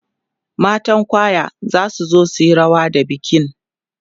matan kwaya zasu zo suyi rawa da bikin